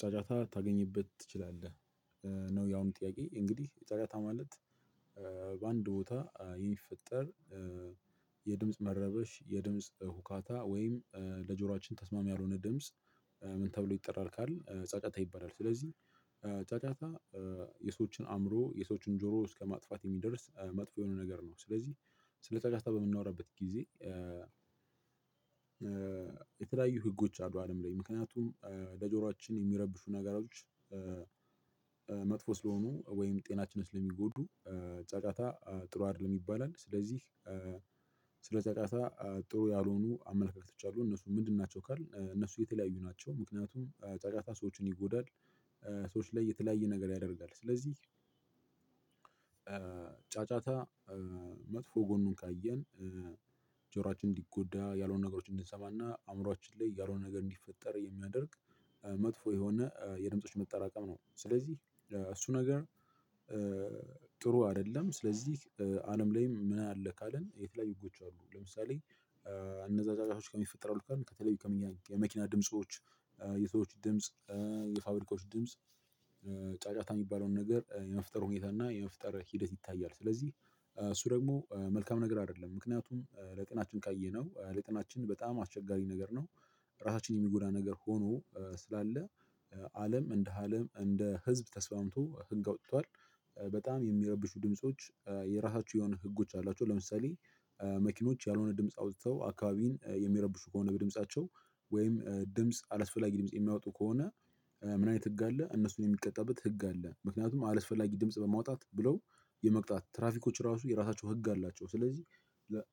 ጨረታ ልታገኝበት ትችላለህ። እና ያን ጥያቄ እንግዲህ ጨረታ ማለት በአንድ ቦታ የሚፈጠር የድምጽ መረበሽ፤ የድምጽ ሁካታ ወይም ለጆሮአችን ተስማሚ ያልሆነ ድምጽ ምን ተብሎ ይጠራል ካልን ጫጫታ ይባላል። ስለዚህ ጫጫታ የሰዎችን አእምሮ፤ የሰዎችን ጆሮ እስከማጥፋት የሚደርስ መጥፎ የሆነ ነገር ነው። ስለዚህ ስለተጫጫታ በምናወራበት ጊዜ የተለያዩ ህጎች አሉ አለም ላይ። ምክንያቱም ለጆሮአችን ሚረብሹ ነገሮች መጥፎ ስለሆኑ ወይም ጤናችንስ ለሚጎዱ ጫጫታ ጥሩ አይደለም ይባላል። ስለዚህ ስለ ጫጫታ ጥሩ ያልሆኑ አመለካከቶች አሉ እነሱ ምንድን ናቸው ካልን እነሱ የተለያዩ ናቸው ምክንያቱም ጫጫታ ሰዎችን ይጎዳል ሰዎች ላይ የተለያየ ነገር ያደርጋል። ስለዚህ ጫጫታ መጥፎ ጎኑን ካየን ጆሯችን እንዲጎዳ፤ ያልሆነ ነገሮችን እንዲሰማና አእምሮአችን ላይ ያልሆነ ነገር እንዲፈጠር የሚያደርግ መጥፎ የሆነ የድምጾች መጠራቀም ነው ስለዚህ እሱ ነገር ጥሩ አይደለም። ስለዚህ አለም ላይም ምን አለ ካልን የተለያዩ ህጎች አሉ ለምሳሌ እነዛ ጫጫታዎች በምን ይፈጠራሉ ካልን ከተለዩ ከመኪና ድምጾች፤ የሰዎች ድምጽ፤ የፋብሪካዎች ድምጽ ጫጫታ የሚባለውን ነገር የመፍጠር ሁኔታ እና የመፍጠር ሂደት ይታያል። ስለዚህ እሱ ደግሞ መልካም ነገር አይደለም ምክንያቱም በጥናትም ካየነው ለጤናችን በጣም አስቸጋሪ ነገር ነው እራሳችንን የሚጎዳ ነገር ሆኖ ስላለ አለም እንደ አለም እንደ ህዝብ ተስማምምቶ ህግ አውጥቷል በጣም የሚረብሹ ድምጾች የራሳቸው የሆኑ ህጎች አሏቸው ለምሳሌ መኪኖች ያልሆነ ድምጽ አውጥተው አካባቢውን የሚረብሹ ከሆነ በድምጻቸው ወይም ድምጽ አላስፈላጊ ድምጽ የሚያወጡ ከሆነ ምን አይነት ህግ አለ እነሱን ሚቀጣበት ህግ አለ። ምክንያቱም አላስፈላጊ ድምጽ በማውጣት ብለው የመቅጣት ትራፊኮች እራሱ የራሳቸው ህግ አላቸው። ስለዚህ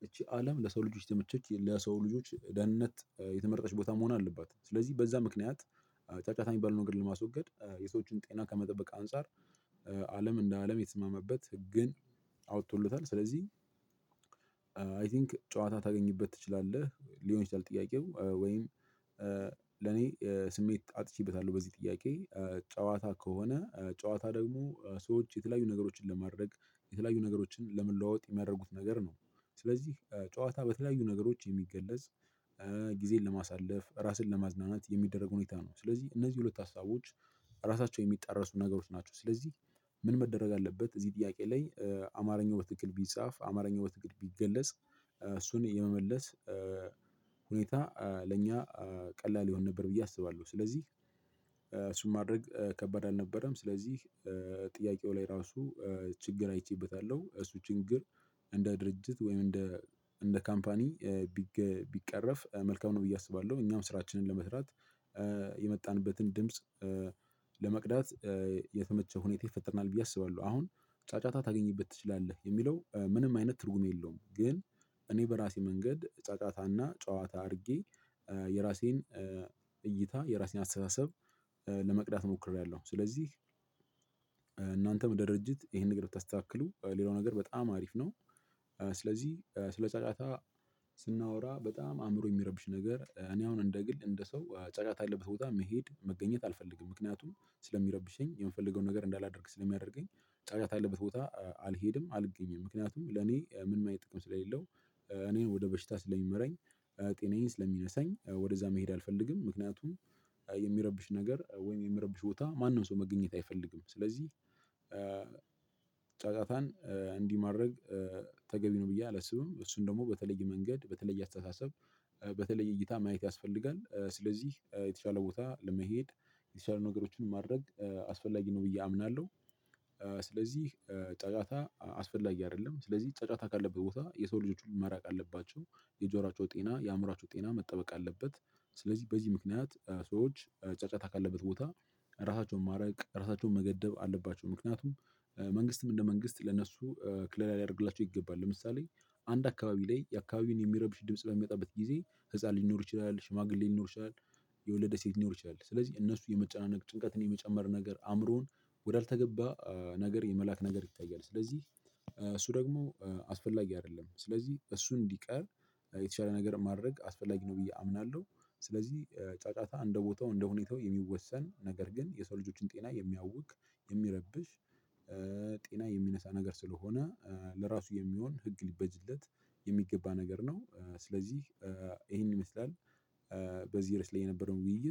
ይቺ አለም ለሰው ልጆች የተመቸች ለሰው ልጆች ደህንነት የተመረጠች ቦታ መሆን አለባት ስለዚህ በዛ ምክንያት ጫጫታ የሚባል ነገር ለማስወገድ፤ የሰዎችን ጤና ከመጠበቅ አንፃር አለም እንደ አለም የተስማማበት ህግን አውጥቶለታል ስለዚህ አይ ቲንክ ጨዋታ ልታገኝበት ትችላለህ ሊሆን ይችላል ጥያቄው ወይም ለኔ ስሜት አጥቼበታለሁ በዚህ ጥያቄ ጨዋታ ከሆነ ጨዋታ ደግሞ ሰዎች የተለያዩ ነገሮችን ለማድረግ የተለያዩ ነገሮችን ለመለዋወጥ የሚያደርጉት ነገር ነው ስለዚህ ጨዋታ በተለያዩ ነገሮች የሚገለጽ ጊዜን ለማሳለፍ፤ እራስን ለማዝናናት የሚደረግ ሁኔታ ነው። ስለዚህ እነዚህ ሁለት ሀሳቦች ራሳቸው ሚጣረሱ ነገሮች ናቸው። ስለዚህ ምን መደረግ አለበት እዚህ ጥያቄ ላይ አማርኛ በትክክል ቢጻፍ አማርኛ በትክክል ቢገለጽ እሱን የመመለስ ሁኔታ ለእኛ ቀላል ይሆን ነበር ብዬ አስባለሁ። ስለዚህ እሱን ማድረግ ከባድ አልነበረም። ስለዚህ ጥያቄው ላይ ራሱ ችግር አይቼበታለሁ እሱ ችግር እንደ ድርጅት ወይም እንደ እንደ ካምፓኒ ቢቀረፍ መልካም ነው ብዬ አስባለሁ። እኛም ስራችንን ለመስራት የመጣንበትን ድምጽ ለመቅዳት የተመቸ ሁኔታ ይፈጠርልናል ብዬ አስባለሁ። አሁን ጫጫታ ታገኝበት ትችላለህ የሚለው ምንም አይነት ትርጉም የለውም ግን እኔ በራሴ መንገድ ጫጫታና ጨዋታ አርጌ የራሴን እይታ የራሴን አስተሳሰብ ለመቅዳት ሞክሬያለሁ። ስለዚህ የእናንተም ድርጅት ይሄን ነገር ብታስተካክሉ ሌላው ነገር በጣም አሪፍ ነው ስለዚህ ስለ ጫጫታ ስናወራ በጣም አእምሮ የሚያረብሽ ነገር እኔ አሁን እንደ ግል እንደ ሰው ጫጫታ ያለበት ቦታ መሄድ፣ መገኘት አልፈልግም ምክንያቱም ስለሚረብሸኝ የምፈልገውን ነገር እንዳላደርግ ስለሚያደርገኝ ጫጫታ ያለበት ቦታ አልሄድም አልገኝም። ምክንያቱም ለኔ ምንም አይነት ጥቅም ስለሌለው እኔን ወደ በሽታ ስለሚመረኝ ጤናዬን ስለሚነሳኝ ወደዛ መሄድ አልፈልግም፤ ምክንያቱም የሚረብሽ ነገር ወይም የሚረብሽ ቦታ ማንም ሰው መገኘት አይፈልግም ስለዚህ ጫጫታን እንዲ ማድረግ ተገቢ ነው ብዬ አላስብም እሱን ደግሞ በተለየ መንገድ በተለየ አስተሳሰብ እይታ ማየት ያስፈልጋል፤ ስለዚህ የተሻለ ቦታ በመሄድ የተሻሉ ነገሮችን ማድረግ አስፈላጊ ነው ብዬ አምናለሁ ስለዚህ ጫጫታ አስፈላጊ አይደለም፤ ስለዚህ ጫጫታ ካለበት ቦታ የሰው ልጆች ሁሉ መራቅ አለባቸው። የጆሯቸው ጤና፤ የአእምሮአቸው ጤና መጠበቅ አለበት ስለዚህ በዚህ ምክንያት ሰዎች ጫጫታ ካለበት ቦታ እራሳቸውን ማራቅ፤ እራሳቸውን መገደብ አለባቸው ምክንያቱም መንግስትም እንደ መንግስት ለነሱ ከለላ ልያደርግላቸው ይገባል። ለምሳሌ አንድ አካባቢ ላይ ያ አካባቢውን የሚረብሽ ድምጽ በሚመጣበት ጊዜ ህፃን ሊኖር ይችላል፤ ሽማግሌ ሊኖር ይችላል፤ የወለደች ሴት ልትኖር ትችላለች፤ ስለዚህ እነሱ የመጨናነቅ ጭንቀትን የመጨመር ነገር አእምሮን ወዳልተገባ ነገር የመላክ ነገር ይታያል ስለዚህ እሱ ደግሞ አስፈላጊ አይደለም። ስለዚህ እሱ እንዲቀር የተሻለ ነገር ማድረግ አስፈላጊ ነው ብዬ አምናለሁ ስለዚህ ጫጫታ እንደ ቦታው፤ እንደ ሁኔታው የሚወሰን ነገር ግን የሰው ልጆችን ጤና የሚያጎድፍ የሚረብሽ ጤና የሚነሳ ነገር ስለሆነ ለራሱ የሚሆን ህግ ሊበጅለት የሚገባ ነገር ነው። ስለዚህ ይሄንን ይመስላል በዚህ ርዕስ ላይ የነበረው ውይይት